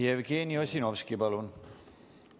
Jevgeni Ossinovski, palun!